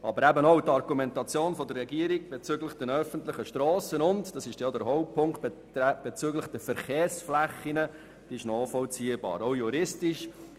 Aber auch die Argumentation der Regierung bezüglich der öffentlichen Strassen und bezüglich der Verkehrsflächen ist nachvollziehbar, auch juristisch.